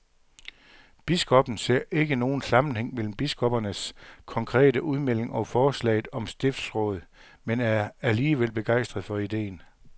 Biskoppen ser ikke nogen sammenhæng mellem biskoppernes konkrete udmelding og forslaget om stiftsråd, men er alligevel begejstret for ideen.